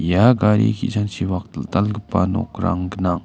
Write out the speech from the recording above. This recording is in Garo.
ia gari ki·sangchipak dal·dalgipa nokrang gnang.